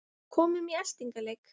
Komum í eltingaleik